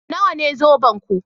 Nawa ne zobenku?